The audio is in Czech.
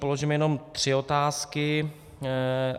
Položím jenom tři otázky.